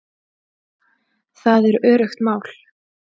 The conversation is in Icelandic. Það er öruggt mál